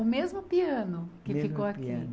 O mesmo piano que ficou aqui.